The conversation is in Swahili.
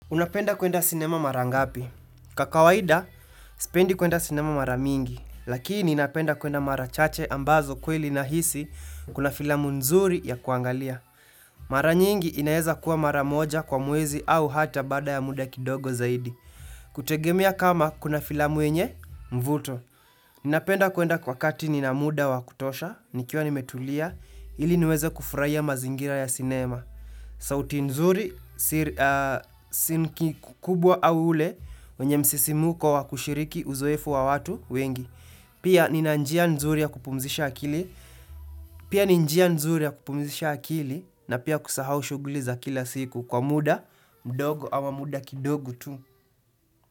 Unapenda kuenda sinema mara ngapi? Kwa kawaida, sipendi kuenda sinema mara mingi. Lakini ninapenda kuenda mara chache ambazo kweli nahisi kuna filamu nzuri ya kuangalia. Mara nyingi inaeza kuwa mara moja kwa mwezi au hata baada ya muda kidogo zaidi. Kutegemea kama kuna filamu yenye, mvuto. Napenda kuenda wakati nina muda wa kutosha, nikiwa nimetulia, ili niweze kufurahia mazingira ya sinema. Sauti nzuri si kikubwa au ule wenye msisimko wa kushiriki uzoefu wa watu wengi. Pia ni njia nzuri ya kupumzisha akili na pia kusahau shuguli za kila siku kwa muda mdogo ama muda kidogo tu.